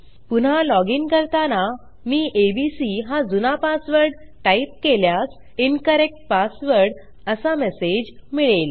पुन्हा लॉजिन करताना मी एबीसी हा जुना पासवर्ड टाईप केल्यास इन्करेक्ट पासवर्ड असा मेसेज मिळेल